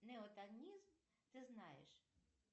неотомизм ты знаешь